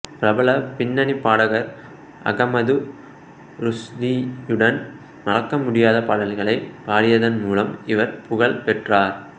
பிரபல பின்னணி பாடகர் அகமது ருஷ்டியுடன் மறக்கமுடியாத பாடல்களை பாடியதன் மூலம் இவர் புகழ் பெற்றார்